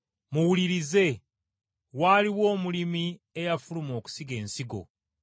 “Muwulirize. Waaliwo omulimi eyafuluma okusiga ensigo.